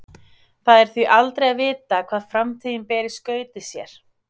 Það er því aldrei að vita hvað framtíðin ber í skauti sér.